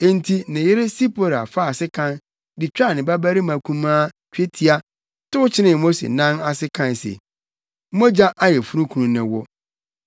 Enti ne yere Sipora faa sekan de twaa ne babarima kumaa twetia tow kyenee Mose nan ase kae se, “Mogya ayeforokunu ne wo.”